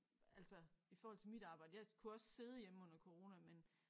Altså i forhold til mit arbejde jeg kunne også sidde hjemme under corona men